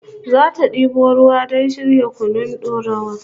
Zata debo ruwa don shirya kunun dorawa